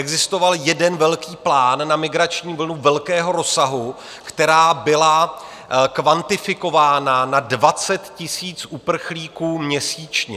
Existoval jeden velký plán na migrační vlnu velkého rozsahu, která byla kvantifikována na 20 000 uprchlíků měsíčně.